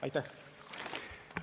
Aitäh!